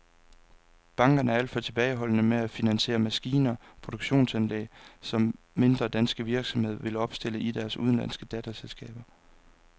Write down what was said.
Bankerne er alt for tilbageholdende med at finansiere maskiner og produktionsanlæg, som mindre danske virksomheder vil opstille i deres udenlandske datterselskaber.